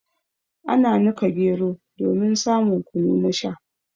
Ana nika gero domin samun kunu na Sha.